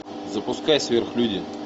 запускай сверхлюди